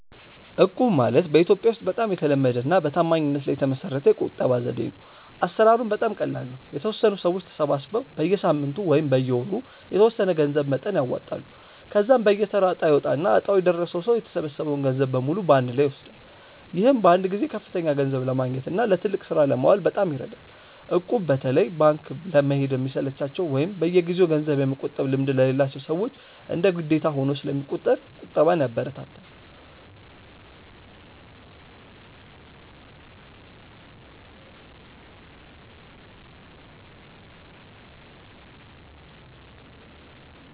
እቁብ ማለት በኢትዮጵያ ውስጥ በጣም የተለመደና በታማኝነት ላይ የተመሰረተ የቁጠባ ዘዴ ነው። አሰራሩም በጣም ቀላል ነው፤ የተወሰኑ ሰዎች ተሰባስበው በየሳምንቱ ወይም በየወሩ የተወሰነ የገንዘብ መጠን ያዋጣሉ። ከዚያም በየተራ እጣ ይወጣና እጣው የደረሰው ሰው የተሰበሰበውን ገንዘብ በሙሉ በአንድ ላይ ይወስዳል። ይህም በአንድ ጊዜ ከፍተኛ ገንዘብ ለማግኘትና ለትልቅ ስራ ለማዋል በጣም ይረዳል። እቁብ በተለይ ባንክ ለመሄድ ለሚሰለቻቸው ወይም በየጊዜው ገንዘብ የመቆጠብ ልምድ ለሌላቸው ሰዎች እንደ ግዴታ ሆኖ ስለሚቆጥር ቁጠባን ያበረታታል።